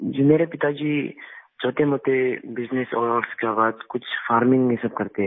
जी मेरे पिताजी छोटे मोटे बिजनेस और उसके बाद कुछ फार्मिंग में सब करते हैं